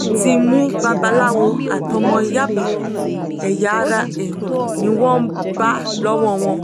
wọ́n ti mú babaláwo àti ọmọ yàbá ẹ̀yà ara èèyàn ni wọ́n bá lọ́wọ́ wọn